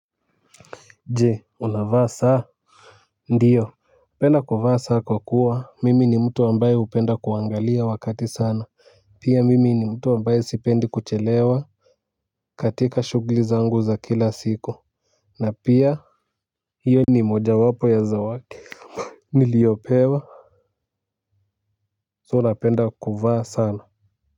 Jee unavaa saa ndiyo napenda kuvaa saa kwa kuwa mimi ni mtu ambaye hupenda kuangalia wakati sana pia mimi ni mtu ambaye sipendi kuchelewa katika shugli zangu za kila siku na pia hiyo ni moja wapo ya zawaki niliopewa So napenda kuvaa sana.